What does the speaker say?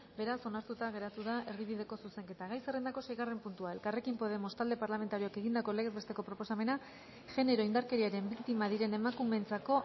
beraz onartuta geratu da erdibideko zuzenketa gai zerrendako seigarren puntua elkarrekin podemos talde parlamentarioak egindako legez besteko proposamena genero indarkeriaren biktima diren emakumeentzako